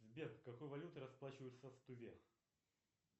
сбер какой валютой расплачиваются в туве